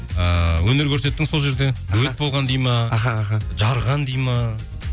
ііі өнер көрсеттің сол жерде болған дейді ме аха аха жарған дейді ме